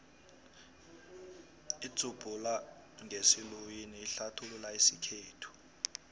idzubhula ngesiluwini ihlathulula isikhethu